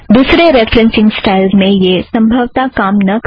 दुसरे referencing styles में यह सम्भवता काम ना करें